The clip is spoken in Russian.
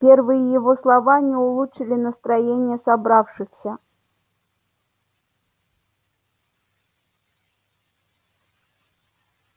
первые его слова не улучшили настроения собравшихся